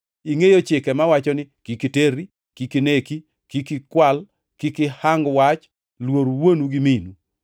Ingʼeyo chike mawacho ni: ‘Kik iterri, kik ineki, kik ikwal, kik ihang wach, luor wuonu gi minu.’ + 18:20 \+xt Wuo 20:12-16; Rap 5:16-20\+xt* ”